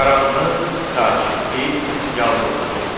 Qaranlıq, sakitlik, yalnızlıq idi.